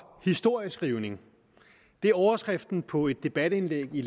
historieskrivning det er overskriften på et debatindlæg i